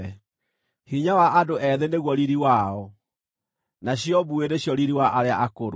Hinya wa andũ ethĩ nĩguo riiri wao, nacio mbuĩ nĩcio riiri wa arĩa akũrũ.